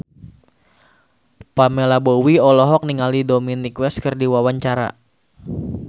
Pamela Bowie olohok ningali Dominic West keur diwawancara